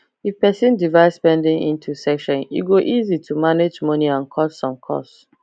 if person divide spending into section e go easy to manage money and cut some cost